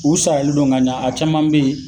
U saralen don ka ɲa, a caman be yen